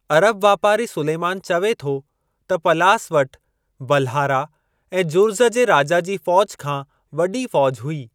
अरब वापारी सुलेमान चवे थो त पलास वट बल्हारा ऐं जुर्ज़ जे राजा जी फौज खां वॾी फौज हुई।